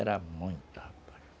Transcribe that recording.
Era muita, rapaz.